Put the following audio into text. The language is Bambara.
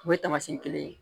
O ye tamasiyɛn kelen ye